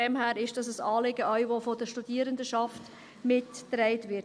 Daher ist es auch ein Anliegen, das von der Studierendenschaft mitgetragen wird.